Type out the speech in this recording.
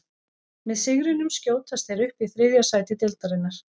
Með sigrinum skjótast þeir upp í þriðja sæti deildarinnar.